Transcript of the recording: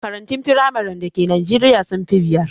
Makarantun firamaren da Ke najeriya sun fi biyar